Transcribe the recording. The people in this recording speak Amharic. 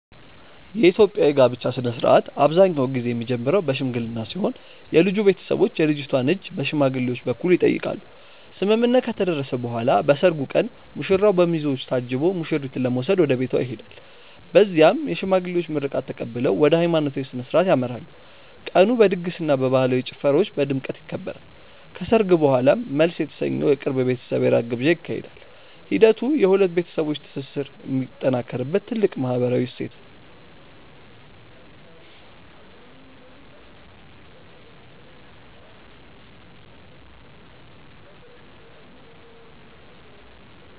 የኢትዮጵያ የጋብቻ ሥነ ሥርዓት አብዛኛውን ጊዜ የሚጀምረው በሽምግልና ሲሆን የልጁ ቤተሰቦች የልጅቷን እጅ በሽማግሌዎች በኩል ይጠይቃሉ። ስምምነት ከተደረሰ በኋላ በሰርጉ ቀን ሙሽራው በሚዜዎች ታጅቦ ሙሽሪትን ለመውሰድ ወደ ቤቷ ይሄዳል። በዚያም የሽማግሌዎች ምርቃት ተቀብለው ወደ ሃይማኖታዊ ሥነ ሥርዓት ያመራሉ። ቀኑ በድግስና በባህላዊ ጭፈራዎች በድምቀት ይከበራል። ከሰርግ በኋላም መልስ የተሰኘው የቅርብ ቤተሰብ የራት ግብዣ ይካሄዳል። ሂደቱ የሁለት ቤተሰቦች ትስስር የሚጠናከርበት ትልቅ ማህበራዊ እሴት ነው።